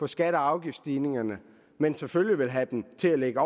skatte og afgiftsstigningerne men selvfølgelig vil have den til at lægge